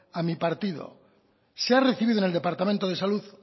a mi partido se ha recibido en el departamento de salud